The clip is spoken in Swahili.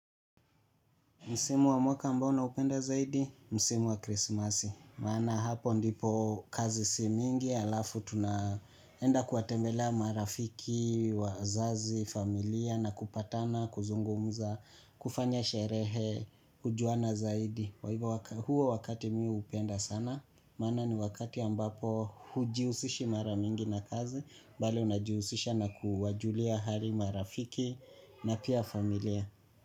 Msimu wa mwaka ambao naupenda zaidi, msimu wa krisimasi. Maana hapo ndipo kazi si mingi, alafu tunaenda kuwatembelea marafiki, wazazi, familia, na kupatana, kuzungumza, kufanya sherehe, kujuana zaidi kwa hivo, huo wakati mi hupenda sana, maana ni wakati ambapo hujihusishi mara mingi na kazi, bali unajihusisha na kuwajulia hali marafiki na pia familia.